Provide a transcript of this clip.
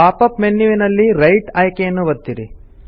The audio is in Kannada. ಪಾಪ್ ಅಪ್ ಮೆನ್ಯುವಿನಲ್ಲಿ ರೈಟ್ ಆಯ್ಕೆ ಯನ್ನು ಒತ್ತಿರಿ